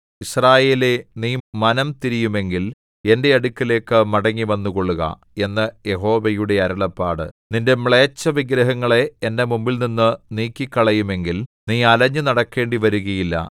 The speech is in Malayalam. യിസ്രായേലേ നീ മനംതിരിയുമെങ്കിൽ എന്റെ അടുക്കലേക്ക് മടങ്ങി വന്നുകൊള്ളുക എന്ന് യഹോവയുടെ അരുളപ്പാട് നിന്റെ മ്ലേച്ഛവിഗ്രഹങ്ങളെ എന്റെ മുമ്പിൽനിന്നു നീക്കിക്കളയുമെങ്കിൽ നീ അലഞ്ഞു നടക്കേണ്ടിവരുകയില്ല